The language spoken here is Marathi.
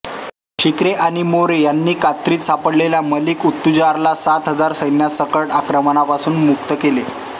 शिर्के आणि मोरे यांनी कात्रीत सापडलेल्या मलिक उत्तुजारला सात हजार सैन्यासकट त्यांच्या आक्रमणापासून मुक्त केला